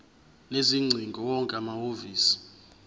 sezingcingo wonke amahhovisi